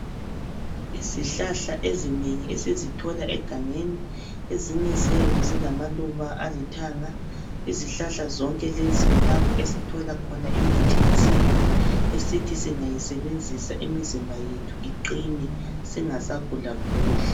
Izihlahla ezinengi esizithola egangeni ezinye ziyabe zilamaluba alithanga izihlahla zonke lezi kulapho esithola khona imithi yesintu esithi singayisebenzisa imizimba yethu iqine singasagula guli.